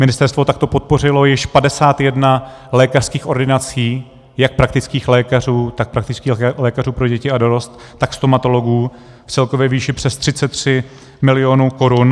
Ministerstvo takto podpořilo již 51 lékařských ordinací jak praktických lékařů, tak praktický lékařů pro děti a dorost, tak stomatologů, v celkové výši přes 33 milionů korun.